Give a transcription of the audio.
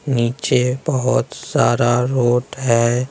नीचे बहुत सारा रोड है।